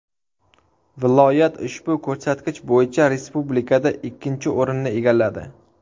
Viloyat ushbu ko‘rsatkich bo‘yicha respublikada ikkinchi o‘rinni egalladi .